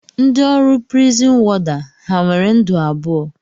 Ndị ọrụ prizin wọda ha nwere ndụ abụọ?